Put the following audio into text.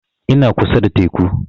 Ina kusa da teku